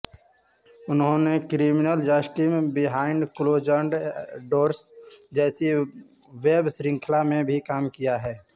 उन्होंने criminal justice behind closed doors जैसी web श्रृंखला में भी काम किया है